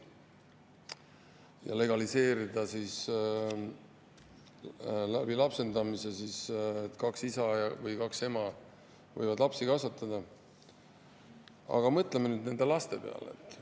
Kui legaliseerida, et lapsendamise abil kaks isa või kaks ema võivad lapsi kasvatada, siis mõtleme nende laste peale.